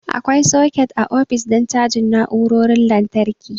Akwai soket a ofis don cajin na'urorin lantarki.